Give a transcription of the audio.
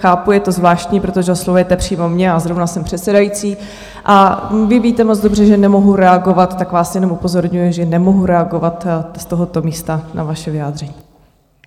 Chápu, je to zvláštní, protože oslovujete přímo mě a zrovna jsem předsedající, a vy víte moc dobře, že nemohu reagovat, tak vás jednom upozorňuji, že nemohu reagovat z tohoto místa na vaše vyjádření.